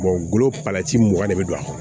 golo palati mugan de bɛ don a kan